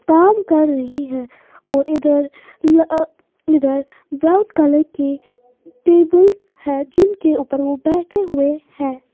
काम कर रही है और इधर लअअ इधर ब्राउन कलर के टेबल है जिनके ऊपर वह बैठे हुए हैं।